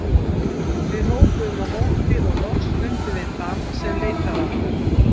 Við hrópuðum á móti og loks fundum við þann sem leitaði okkar.